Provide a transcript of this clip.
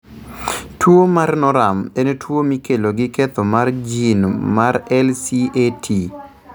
Tuwo mar Norum en tuwo mikelo gi ketho mar gene mar LCAT.